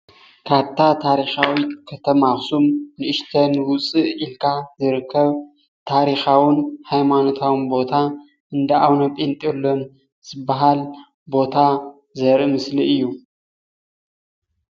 ካብታ ታሪኻዊት ኸተማ ኣኽሱም ንእሸተን ውፅእ ኢልካ ዝርከብ ታሪኻውን ሃይማኖታውን ቦታ እንዳ ኣውነ ጴንጤልዮን ዝበሃል ቦታ ዘርኢ ምስሊ እዩ።